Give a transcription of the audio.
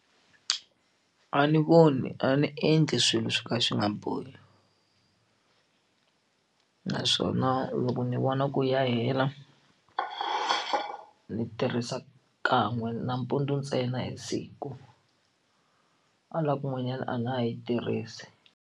A ni voni a ndzi endli swilo swo ka swi nga ni bohi naswona loko ni vona ku ya hela ni tirhisa kan'we nampundzu ntsena hi siku hala kun'wanyana a na ha yi tirhisi.